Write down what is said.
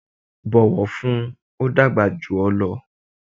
bọ̀wọ̀ fún un! ó dàgbà jù ọ lọ.